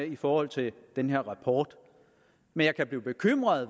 i forhold til den her rapport men jeg kan blive bekymret